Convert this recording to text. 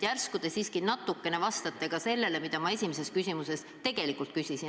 Järsku te siiski natukene vastate ka sellele, mida ma esimeses küsimuses tegelikult küsisin.